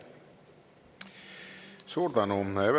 Suur tänu!